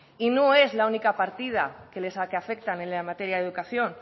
y no es la única partida que afecta en la materia de educación